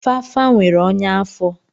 Fafa nwere ọnya afọ.